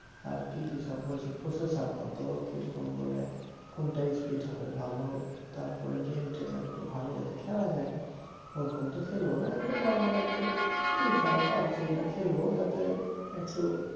আর কি কি সব বলছে processor কত কিরকম বলে কোনটা speed হবে ভাল তারপরে game টেম একটু ভাল যাতে খেলা যায় ওরকম তো খেলব না একটু normal FIFA pubg একটু খেলব যাতে একটু